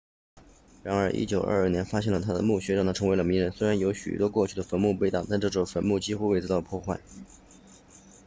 然而1922年发现了他的墓穴让他成了名人虽然有许多过去的坟墓被盗但这座坟墓几乎未遭破坏